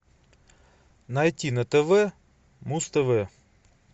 найти на тв муз тв